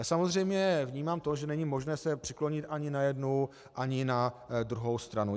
Já samozřejmě vnímám to, že není možné se přiklonit ani na jednu ani na druhou stranu.